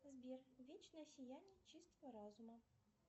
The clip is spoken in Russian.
сбер вечное сияние чистого разума